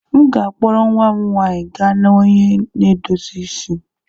M ga-akpọrọ nwa m nwanyị gaa na onye na-edozi isi.